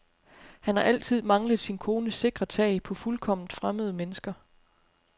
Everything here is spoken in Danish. Han har altid manglet sin kones sikre tag på fuldkomment fremmede mennesker.